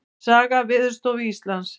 Saga Veðurstofu Íslands.